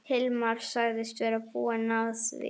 Hilmar sagðist vera búinn að því.